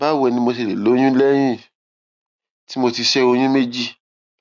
báwo ni mo ṣe lè lóyún léyìn tí mo ti ṣé oyún méjì